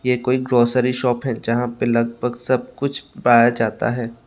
ये कोई grocery shop है जहां पर लगभग सब कुछ पाया जाता है।